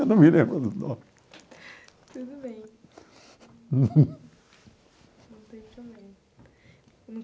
Eu não me lembro do nome. Tudo bem, não tem problema.